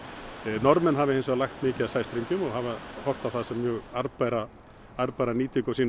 Norðmenn hafa hins vegar lagt mikið af sæstrengjum og hafa horft á það sem mjög arðbæra arðbæra nýtingu á sínum